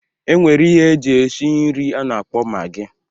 E nwere ihe eji eshi nri a na-akpọ magị